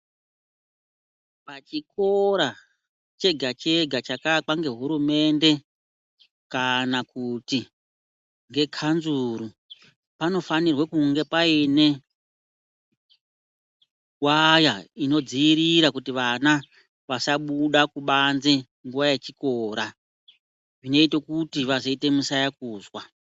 Pachikora chega chega chakaakwa ngehurumende kana kuti ngekanzuru panofanirwa kunge paine waya inodziirira kuti vana vasabuda kubanze nguwa yechikora zvinoita kuti vazoite musayakuzwa.